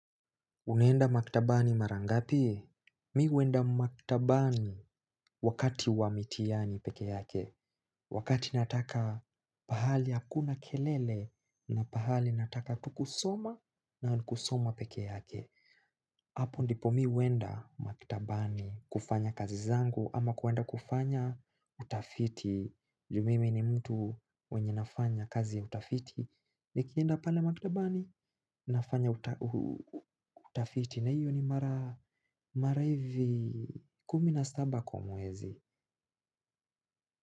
Unaenda maktabani mara ngapi? Mi huenda maktabani wakati wa mitihani pekee yake. Wakati nataka pahali hakuna kelele na pahali nataka tu kusoma na ni kusoma pekee yake. Apo ndipo mi huenda maktabani kufanya kazi zangu ama kuenda kufanya utafiti. Juu mimi ni mtu mwenye nafanya kazi ya utafiti. Nikienda pale maktabani nafanya utafiti na hiyo ni mara hivi kumi na saba kwa mwezi.